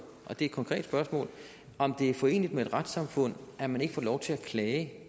og det er et konkret spørgsmål om det er foreneligt med et retssamfund at man ikke får lov til at klage